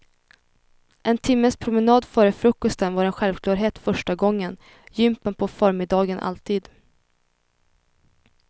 En timmes promenad före frukosten var en självklarhet första gången, jympan på förmiddagen alltid.